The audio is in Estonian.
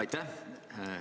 Aitäh!